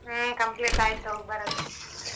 ಹ್ಮ complete ಆಯ್ತು ಹೋಗ್ಬರೋದು.